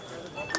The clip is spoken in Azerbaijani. Balam.